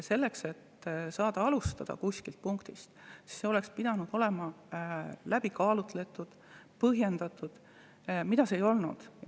Selleks, et saaks kuskilt punktist alustada, oleks pidanud see olema läbi kaalutud, põhjendatud, mida see ei ole.